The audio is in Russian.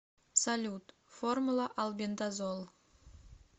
салют формула албендазол